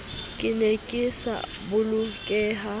ke ne ke sa bolokeha